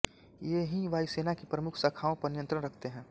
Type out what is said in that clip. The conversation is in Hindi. ये ही वायुसेना की प्रमुख शाखाओं पर नियंत्रण रखते हैं